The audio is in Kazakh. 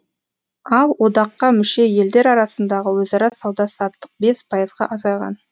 ал одаққа мүше елдер арасындағы өзара сауда саттық бес пайызға азайған